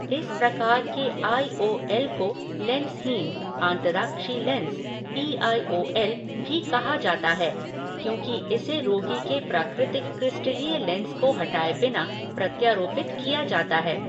इस प्रकार के आई ओ एल को लेंसहीन आंतराक्षि lens, P I O L भी कहा जाता है, क्योंकि इसे रोगी के प्राकृतिक क्रिस्टलीय लेंस को हटाए बिना प्रत्यारोपित किया जाता है।